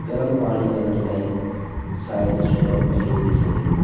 गरम पाणी कना ते शायद सोलर प्लेट दिखेण लगीं।